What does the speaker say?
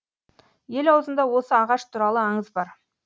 ел аузында осы ағаш туралы аңыз бар